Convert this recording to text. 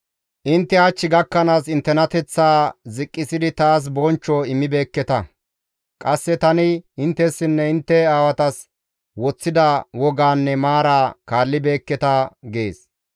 Intte hach gakkanaas inttenateththaa ziqqisidi taas bonchcho immibeekketa; qasse tani inttessinne intte aawatas woththida wogaanne maara kaallibeekketa› gees.